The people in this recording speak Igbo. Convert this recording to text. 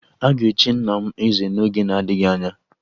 A ga-echi nna m eze n'oge na-adịghị anya